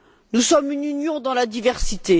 Nous sommes une union dans la diversité.